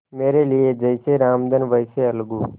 मेरे लिए जैसे रामधन वैसे अलगू